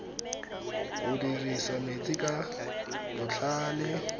go dirisa metsi ka botlhale